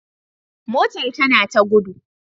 Motar tana ta gudu